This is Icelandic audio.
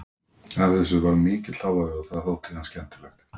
Af þessu varð mikill hávaði og það þótti þeim skemmtilegt.